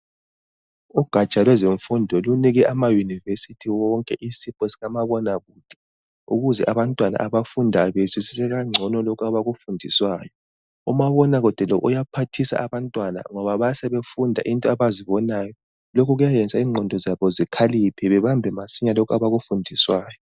Ugaja lwezemfundo, lunike amayunivesithi wonke isipho sikamabona kude. Ukuze abantwana abafundayo, bazwisise ngcono lokho abakufundiswayo. Umabona kude lo uyaphathisa abantwana ngoba bayabe sebefunda izinto abazibonayo. Lokhu kuyayenza ingqondo zabo zikhaliphe. babambe masinya lokho abakufundiswayo.